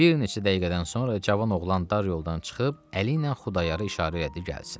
Bir neçə dəqiqədən sonra cavan oğlan dar yoldan çıxıb əliylə Xudayarı işarə elədi gəlsin.